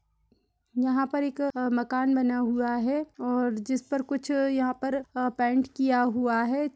यहाँ पर एक क मकान बना हुआ है और जिस पर कुछ यहाँ पर पेंट किया हुआ है।